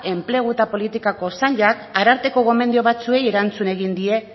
enplegu eta politiketako sailak arartekoko gomendio batzuei erantzun egin die